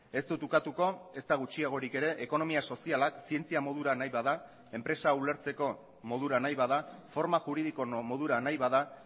ez dut ukatuko ezta gutxiagorik ere ekonomia sozialak zientzia modura nahi bada enpresa ulertzeko modura nahi bada forma juridiko modura nahi bada